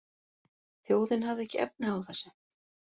Þjóðin hafði ekki efni á þessu